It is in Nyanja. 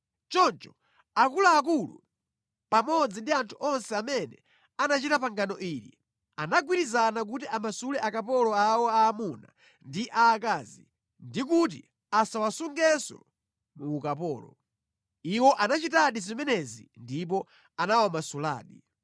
Choncho akuluakulu pamodzi ndi anthu onse amene anachita pangano ili anagwirizana kuti amasule akapolo awo aamuna ndi aakazi ndi kuti asawasungenso mu ukapolo. Iwo anachitadi zimenezi ndipo anawamasuladi.